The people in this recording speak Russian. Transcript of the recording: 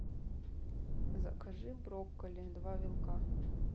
закажи брокколи два вилка